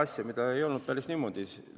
See ei olnud päris niimoodi.